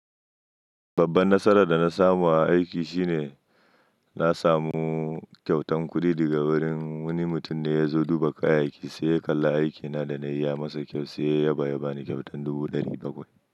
Babban nasarar da na samu a aiki shine na samu kyautan kudi daga wurin wani mutum da ya zo duba kayayyaki sai ya kalla aikina da na yi ya masa kyau sai ya yaba ya bani kyautan dubu ɗari bakwai.